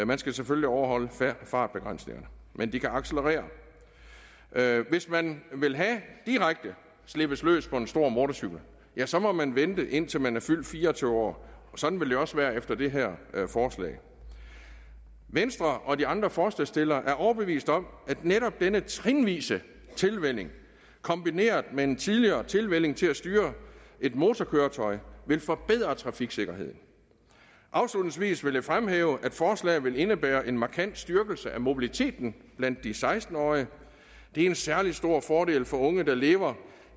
man skal selvfølgelig overholde fartbegrænsningerne men de kan accelerere hvis man vil have og direkte slippes løs på en stor motorcykel ja så må man vente indtil man er fyldt fire og tyve år og sådan vil det også være efter det her forslag venstre og de andre forslagsstillere er overbeviste om at netop denne trinvise tilvænning kombineret med en tidligere tilvænning til at styre et motorkøretøj vil forbedre trafiksikkerheden afslutningsvis vil jeg fremhæve at forslaget vil indebære en markant styrkelse af mobiliteten blandt de seksten årige det er en særlig stor fordel for de unge der lever